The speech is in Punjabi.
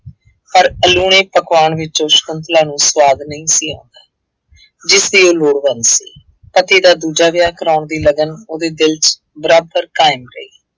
ਪਰ ਅਲੂਣੇ ਪਕਵਾਨ ਵਿੱਚੋਂ ਸ਼ੰਕੁਤਲਾ ਨੂੰ ਸੁਆਦ ਨਹੀਂ ਸੀ ਆ ਰਿਹਾ ਜਿਸਦੀ ਉਹ ਲੋੜਵੰਦ ਸੀ। ਪਤੀ ਦਾ ਦੂਜਾ ਵਿਆਹ ਕਰਵਾਉਣ ਦੀ ਲਗਨ ਉਹਦੇ ਦਿਲ ਚ ਬਰਾਬਰ ਕਾਇਮ ਰਹੀ।